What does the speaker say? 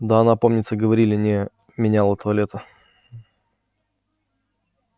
да она помнится говорили не меняла туалета